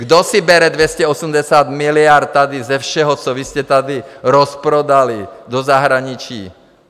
Kdo si bere 280 miliard tady ze všeho, co vy jste tady rozprodali do zahraničí?